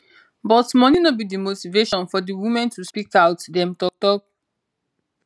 but money no be di motivation for di women to speak out dem tok tok